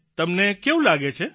તમને કેવું લાગે છે